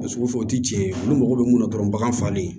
A sugu fɛ o ti cɛn olu mago bɛ mun na dɔrɔn bagan falen